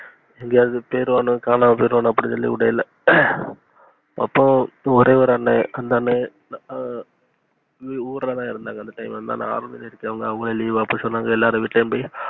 எங்கேயாது போய்ருவானோ இல்ல காணாம போய்ருவானோனு விடல அப்போ ஒரே ஒரு அண்ணே அஹ் அந்த அண்ணே அஹ் ஊருல இருந்தாங்க, அந்த time ல அவங்க leave அப்ப சொன்னங்க எல்லாருகிட்டயும் போய்,